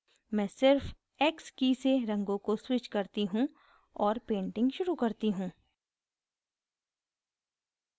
मैं सिर्फ x की से रंगों को switch करती और painting शुरू करती हूँ